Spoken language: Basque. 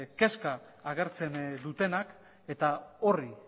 kezka agertzen dutenak eta horri